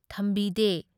ꯊꯝꯕꯤꯗꯦ꯫